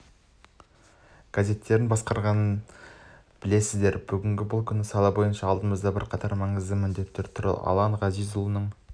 газеттерін басқарғанын білесіздер бүгінгі күні бұл сала бойынша алдымызда бірқатар маңызды міндеттер тұр алан ғазизұлының